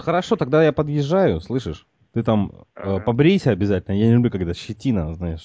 хорошо тогда я подъезжаю слышишь ты там побрейся обязательно я не люблю когда щетина знаешь